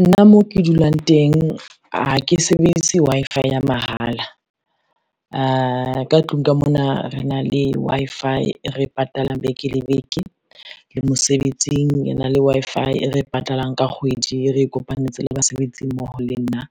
Nna mo ke dulang teng ha ke sebedise Wi-Fi ya mahala, ka tlung ka mona re na le Wi-Fi e re e patalang beke le beke le mosebetsing re na le Wi-Fi e re e patalang ka kgwedi, e re e kopantse le basebetsi mmoho le nna.